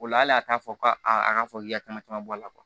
O la hali a t'a fɔ ko a ka fɔ k'i ka caman bɔ a la